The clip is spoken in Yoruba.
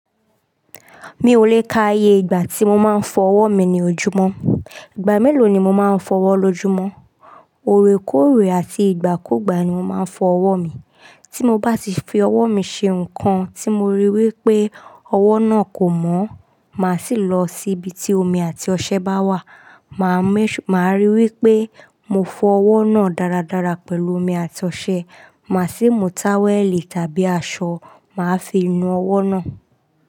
Mi ò lè ka iye ìgbà tí mo máa ń fọ ọwọ́ mi ní ojúmọ́. Ìgbà mélòó ni mo máa ń fọ ọwọ́ lójúmọ́? Òoreróòkè àti ìgbàkùgbà ni mo máa ń fọ ọwọ́ mi. Tí mo bá ti fi ọwọ́ mi ṣe nǹkan tí mo rí wípé ọwọ́ náà kò mọ́, màá sì lọ síbi tí omi àti ọṣẹ bá wà. Màá rí wípé mo fọ ọwọ́ náà dáradára pẹ̀lú omi àti ọṣẹ. Màá sì mú táwẹ̀lì tàbí aṣọ, màá fi nu ọwọ́ náà.